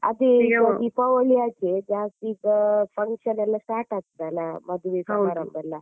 ಅದೇ ಈಗ ದೀಪಾವಳಿ ಆಚೆ ಜಾಸ್ತಿಈಗ function ಎಲ್ಲ start ಆಗ್ತದೆ ಅಲ್ಲ ಮದುವೆ ಸಮಾರಂಭ ಎಲ್ಲ.